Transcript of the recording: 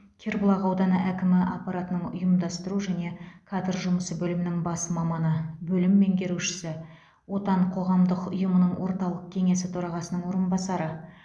кербұлақ ауданы әкімі аппаратының ұйымдастыру және кадр жұмысы бөлімінің бас маманы бөлім меңгерушісі отан қоғамдық ұйымының орталық кеңесі төрағасының орынбасары